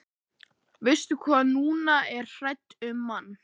Verst hvað hún er hrædd um mann.